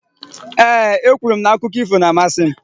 Ee, e kwuru m na akụkọ ífò na-amasị m.